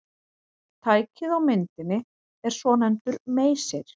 Tækið á myndinni er svonefndur meysir.